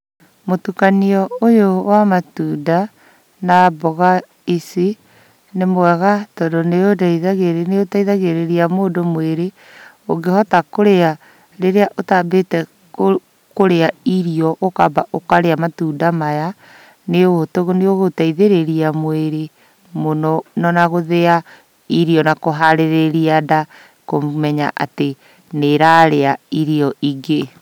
Mũtukanio ũyũ wa matunda, na mboga ici nĩ mwega tondũ nĩũndeitha ĩũteithagĩrĩria mũndũ mũĩrĩ ũngĩhota kũrĩa rĩrĩa ũtambĩte kũrĩa irio ũkamba ũkarĩa matunda maya, nĩũgũgũteithĩrĩria mũĩrĩ mũno na ona gũthĩa irio na kũharĩrĩria nda kũmenya atĩ nĩ ĩrarĩa irio ingĩ